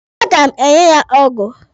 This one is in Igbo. A ga m enye ya ọgụ.